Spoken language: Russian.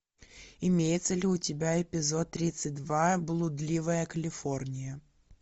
имеется ли у тебя эпизод тридцать два блудливая калифорния